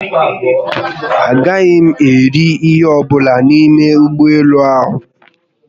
Agaghị m eri ihe ọbụla n'ime ụgbọelu ahụ